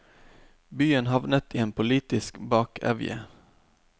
Byen havnet i en politisk bakevje.